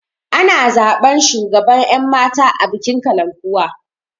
Ana zaɓan shugaban ƴan mata a bikin kalankuwa